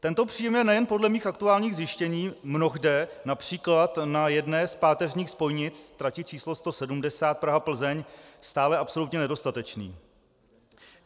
Tento příjem je nejen podle mých aktuálních zjištění mnohde například na jedné z páteřních spojnic, trati č. 170 Praha-Plzeň stále absolutně nedostatečný.